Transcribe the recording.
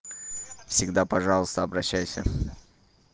всегда пожалуйста обращайся